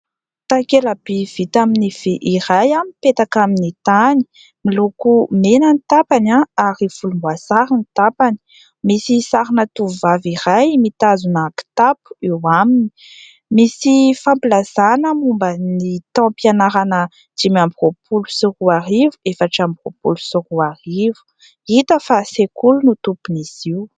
Takela-by vita amin'ny vy iray mipetaka amin'ny tany. Miloko mena ny tapany ary volomboasary ny tapany. Misy sarina tovovavy iray mitazona kitapo eo aminy. Misy fampilazana momba ny taom-pianarana dimy amby roapolo sy roarivo, efatra amby roapolo sy roarivo. Hita fa sekoly no tompon'izy io.